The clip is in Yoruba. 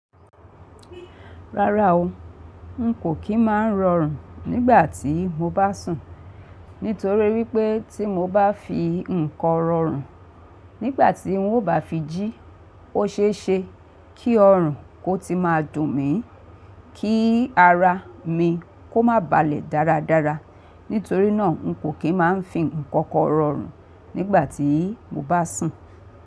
Rárá o, n kò kí máa rọrùn nígbà tí mo bá sùn, nítorí wípé tí mo bá fi ǹkan rọrùn, nígbà tí n ó bá fi jí ó ṣe é ṣe kí ọrùn kó ti máa dùn mí, kí ara mi kó má balẹ̀ dáradára. Nítorí náà n kò kí máa fì ǹkan kankan rọrùn nígbà tí mo bá sùn.